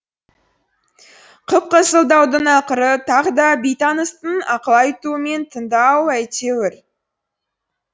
қып қызыл даудың ақыры тағы да бейтаныстың ақыл айтуымен тынды ау әйтеуір